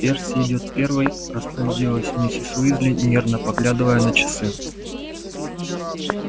перси идёт первой распорядилась мисс уизли нервно поглядывая на часы